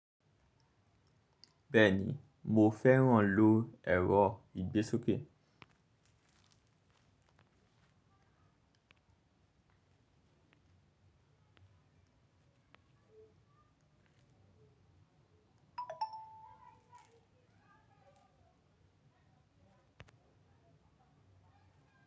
Bẹ́ẹ̀ni, mo fẹ́ràn ló ẹ̀rọ ìgbésókè.